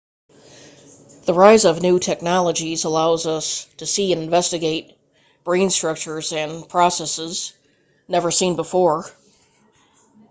the rise of new technologies allows us to see and investigate brain structures and processes never seen before